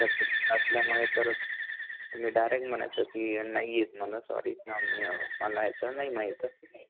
तुम्ही फ्रेशर असल्यामुळे तर मग तुम्ही डायरेक्ट म्हणायच की नाही येत मला सॉरी मला ह्याच नाही माहीत